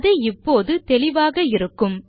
அது இப்போது தெளிவாக இருக்கும்